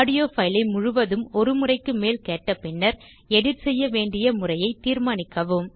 audio file ஐ முழுவதும் ஒருமுறைக்கும் மேல் கேட்டபின்னர் எடிட் செய்ய வேண்டிய முறையைத் தீர்மானிக்கவும்